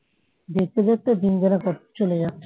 দেখতে দেখতে দিনগুলা সব চলে যাচ্ছে